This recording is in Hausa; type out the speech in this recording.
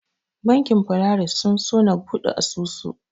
Bankin Polaris sun so na buɗe asusu.